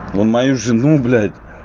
он мою жену блять